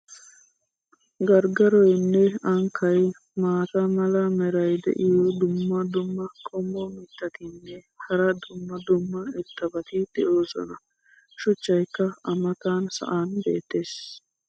garggaroynne ankkay, maata mala meray diyo dumma dumma qommo mitattinne hara dumma dumma irxxabati de'oosona. shuchchaykka a matan sa"an beetees.